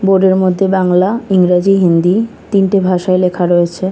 বোর্ডের মধ্যে বাংলা ইংরেজি হিন্দি তিনটি ভাষায় লেখা রয়েছে।